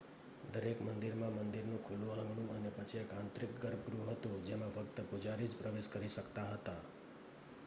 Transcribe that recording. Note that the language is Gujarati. દરેક મંદિરમાં મંદિરનું ખુલ્લું આંગણું અને પછી એક આંતરિક ગર્ભગૃહ હતું જેમાં ફક્ત પૂજારી જ પ્રવેશ કરી શકતા હતા